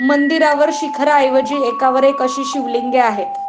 मंदिरावर शिखाराऐवजी एकावर एक अशी शिवलिंगे आहे.